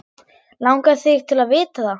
Langar þig til að vita það?